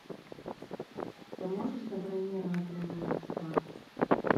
ты можешь забронировать для меня спа